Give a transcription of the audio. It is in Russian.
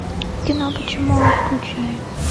кино почему он включай